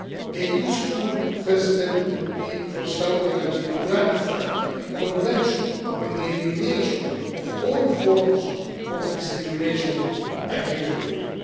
A useful first step would be for Saudi Arabia to ratify the Convention on the Elimination of all Forms of Discrimination against Women.